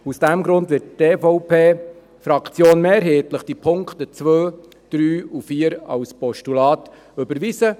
Aus diesem Grund wird die EVP-Fraktion die Punkte 2, 3 und 4 als Postulat mehrheitlich überweisen.